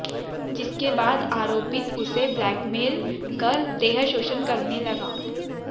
जिसके बाद आरोपित उसे ब्लेकमेलल कर देहशोषण करने लगा